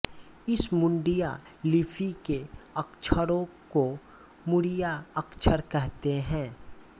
इस मुड़िया लिपि के अक्षरों को मुड़िया अक्षर कहते है